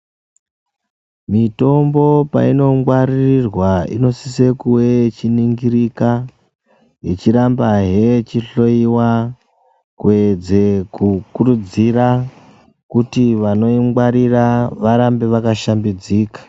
Mitombo painongwaririrwa inosisa kuwe ichiningirika ichirambahe ichihloyiwa kuedze kukurudzira kuti vanoingwarira varambe vakashambidzika.